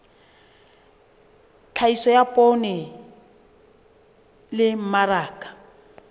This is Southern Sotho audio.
tlhahiso ya poone le mmaraka